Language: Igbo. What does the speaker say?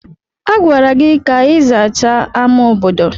A gwara gị ka ị zachaa ámá obodo!